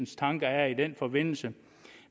tanker er i den forbindelse